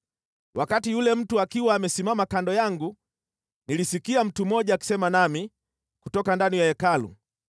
Wakati yule mtu akiwa amesimama kando yangu, nilisikia mtu mmoja akisema nami kutoka ndani ya Hekalu.